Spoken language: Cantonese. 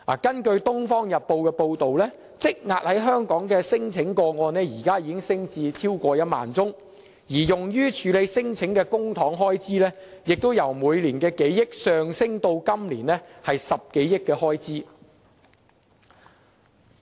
根據《東方日報》報道，香港現時積壓的聲請個案，已升至超過1萬宗，而用於處理聲請的公帑開支，亦由每年數億元上升至今年10多億元。